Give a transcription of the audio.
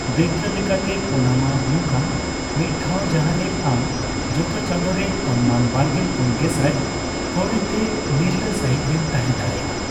ᱫᱟᱹᱭᱠᱟᱹ ᱞᱮᱠᱟᱛᱮ, ᱯᱚᱱᱟᱢᱟ ᱱᱚᱝᱠᱟᱱ ᱢᱤᱫ ᱴᱷᱟᱣ ᱡᱟᱦᱟᱸᱨᱮ ᱟᱢ ᱡᱚᱛᱚ ᱪᱟᱸᱫᱳᱨᱮ ᱚᱱᱢᱟᱱ ᱵᱟᱨᱜᱮᱞ ᱯᱩᱱ ᱜᱮᱥᱟᱭ ᱠᱟᱣᱰᱤᱛᱮ ᱱᱤᱨᱞᱟᱹ ᱥᱟᱹᱦᱤᱡᱽ ᱮᱢ ᱛᱟᱦᱮᱸ ᱫᱟᱲᱮᱭᱟᱜᱼᱟ ᱾